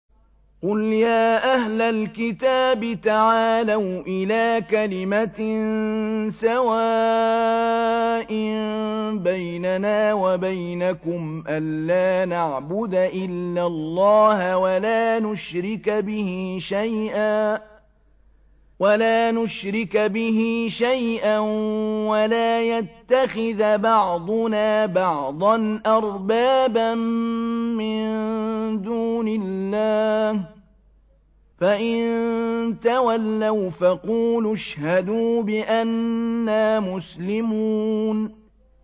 قُلْ يَا أَهْلَ الْكِتَابِ تَعَالَوْا إِلَىٰ كَلِمَةٍ سَوَاءٍ بَيْنَنَا وَبَيْنَكُمْ أَلَّا نَعْبُدَ إِلَّا اللَّهَ وَلَا نُشْرِكَ بِهِ شَيْئًا وَلَا يَتَّخِذَ بَعْضُنَا بَعْضًا أَرْبَابًا مِّن دُونِ اللَّهِ ۚ فَإِن تَوَلَّوْا فَقُولُوا اشْهَدُوا بِأَنَّا مُسْلِمُونَ